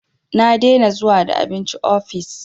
Na dena zuwa da abinci ofis